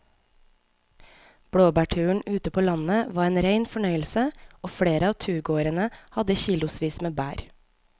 Blåbærturen ute på landet var en rein fornøyelse og flere av turgåerene hadde kilosvis med bær.